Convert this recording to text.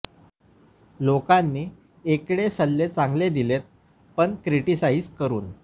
लोकानी एकडे सल्ले चांगले दिलेत पण क्रिटीसाइझ करुन